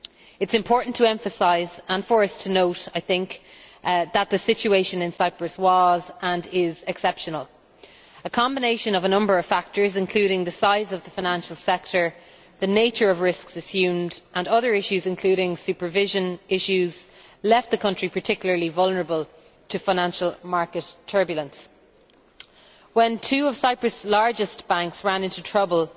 It is important to emphasise and for us to note, I think that the situation in Cyprus was, and is, exceptional. A combination of a number of factors, including the size of the financial sector, the nature of the risks assumed and other issues, including supervision issues, left the country particularly vulnerable to financial market turbulence. When two of Cyprus's largest banks ran into trouble,